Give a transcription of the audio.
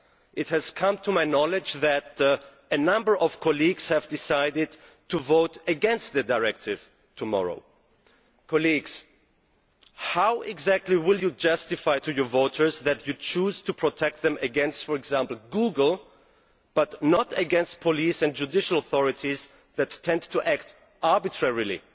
It has come to my knowledge that a number of colleagues have decided to vote against the directive tomorrow. Colleagues, how exactly will you justify to your voters that you choose to protect them against, for example, Google, but not against police and judicial authorities that tend to act arbitrarily?